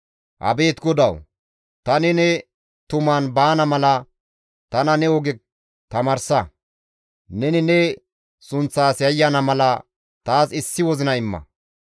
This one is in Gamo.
Abeet GODAWU! Tani ne tuman baana mala tana ne oge tamaarsa; tani ne sunththas yayyana mala taas issi wozina imma.